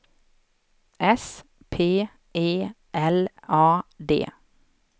S P E L A D